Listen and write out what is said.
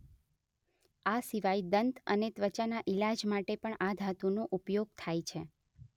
આ સિવાય દંત અને ત્વાચાના ઈલાજ માટે પણ આ ધાતુ નો ઉપયોગ થાય છે